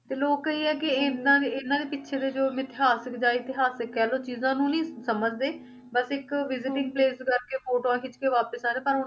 ਤੇ ਲੋਕ ਇਹ ਆ ਕਿ ਇਹਨਾਂ ਦੇ ਇਹਨਾਂ ਦੇ ਪਿੱਛੇ ਦੇ ਜੋ ਮਿਥਿਹਾਸਕ ਜਾਂ ਇਤਿਹਾਸਕ ਕਹਿ ਲਓ ਚੀਜ਼ਾਂ ਨੂੰ ਨੀ ਸਮਝਦੇ ਬਸ ਇੱਕ visiting place ਕਰਕੇ ਫੋਟੋਆਂ ਖਿੱਚਕੇ ਵਾਪਿਸ ਆ ਰਹੇ ਪਰ